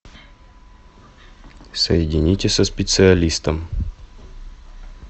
соедините со специалистом